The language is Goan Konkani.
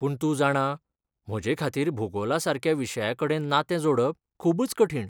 पूण तूं जाणां, म्हजेखातीर भुगोलासारक्या विशयाकडेन नातें जोडप खूबच कठीण.